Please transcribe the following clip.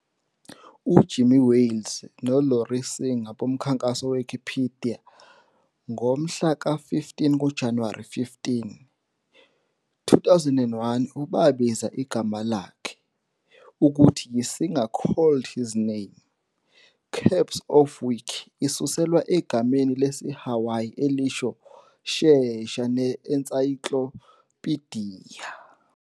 UJimmy Wales noLarry Singer bomkhankaso-we-Wikipedia n ngomhlaka-15 kuJanuwari 15, 2001 u- babiza igama lakhe, ukuthi yi-Singer called his name, CAPS of Wiki, isuselwa egameni lesiHawayi elisho "Shesha" ne-ensayiklopidiya.